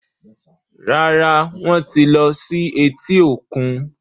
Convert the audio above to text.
Rárá, Wọ́n ti lọ sí etí-òkun